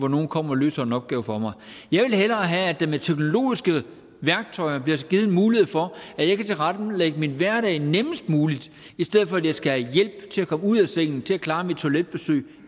nogle kommer og løser en opgave for mig jeg vil hellere have at der med teknologiske værktøjer bliver givet mulighed for at jeg kan tilrettelægge min hverdag nemmest muligt i stedet for at jeg skal have hjælp til at komme ud af sengen til at klare mine toiletbesøg